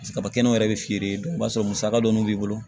Paseke kabakɛnɛw yɛrɛ bɛ feere yen i b'a sɔrɔ musaka dɔɔni b'i bolo